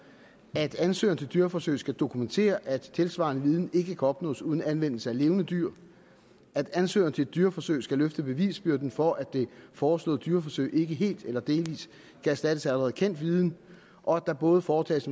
at ansøgere til dyreforsøg skal dokumentere at tilsvarende viden ikke kan opnås uden anvendelse af levende dyr at ansøgere til dyreforsøg skal løfte bevisbyrden for at det foreslåede dyreforsøg ikke helt eller delvis kan erstattes af allerede kendt viden og at der både foretages